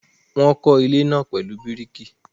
Wọ́n kọ́ ilé náà pẹ̀lú bíríkì.